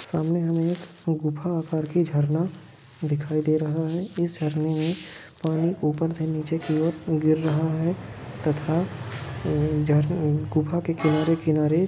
सामने हमे एक गुफा परकी झरना दिखाई दे रहा हे इस झरने में पानी ऊपर से निचे की ओर गिर रहा है तथा जहर-गुफा के किनारे-किनारे